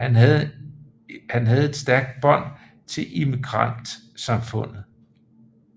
Han havde stærke bånd til immigrantsamfundet